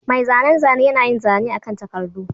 Mai zanen zane yana yin zane akan takardu